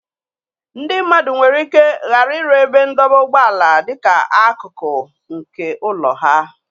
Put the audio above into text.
Ndị mmadụ nwere ike ghara ịrụ ebe ndọba ụgbọala dịka akụkụ nke ụlọ ha.